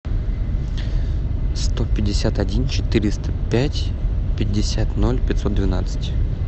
сто пятьдесят один четыреста пять пятьдесят ноль пятьсот двенадцать